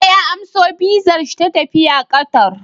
Bello ya amso VISA shi ta tafiya Qatar